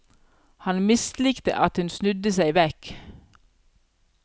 Han mislikte at hun snudde seg vekk.